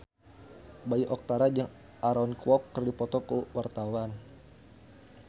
Bayu Octara jeung Aaron Kwok keur dipoto ku wartawan